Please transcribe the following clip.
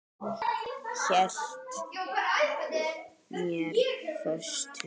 Hélt mér föstum.